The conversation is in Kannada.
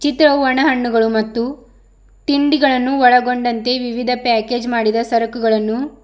ಚಿತ್ರವು ಒಣ ಹಣ್ಣುಗಳು ಮತ್ತು ತಿಂಡಿಗಳನ್ನು ಒಳಗೊಂಡಂತೆ ವಿವಿಧ ಪ್ಯಾಕೇಜ್ ಮಾಡಿದ ಸರಕುಗಳನ್ನು--